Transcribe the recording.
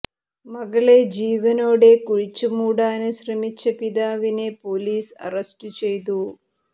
മകളെ ജീവനോടെ കുഴിച്ചു മൂടാന് ശ്രമിച്ച പിതാവിനെ പൊലീസ് അറസ്റ്റ് ചെയ്തു